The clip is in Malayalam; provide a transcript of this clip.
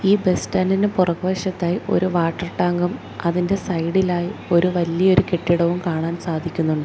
ഈ ബസ് സ്റ്റാൻഡിൻ്റെ പുറക് വശത്തായി ഒരു വാട്ടർ ടാങ്കും അതിൻ്റെ സൈഡിലായി ഒരു വലിയ ഒരു കെട്ടിടവും കാണാൻ സാധിക്കുന്നുണ്ട്.